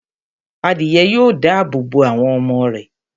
adìyẹ yóò dáàbò bo àwọn ọmọ rẹ̀